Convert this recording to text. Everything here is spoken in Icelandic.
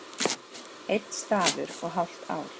Einn stafur og hálft ár